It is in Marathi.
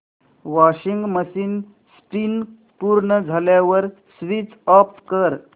वॉशिंग मशीन स्पिन पूर्ण झाल्यावर स्विच ऑफ कर